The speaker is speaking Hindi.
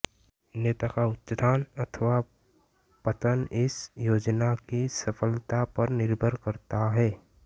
नेता का उत्थान अथवा पतन इस योजना की सफलता पर निर्भर करता है